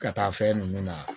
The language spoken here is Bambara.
Ka taa fɛn nunnu na